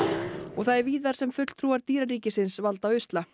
það er víðar sem fulltrúar dýraríkisins valda usla